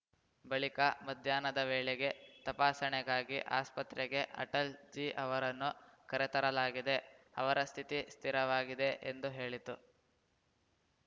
ಬಳಿಕ ಮಧ್ಯಾಹ್ನದ ವೇಳೆಗೆ ತಪಾಸಣೆಗಾಗಿ ಆಸ್ಪತ್ರೆಗೆ ಅಟಲ್‌ಜಿ ಅವರನ್ನು ಕರೆತರಲಾಗಿದೆ ಅವರ ಸ್ಥಿತಿ ಸ್ಥಿರವಾಗಿದೆ ಎಂದು ಹೇಳಿತು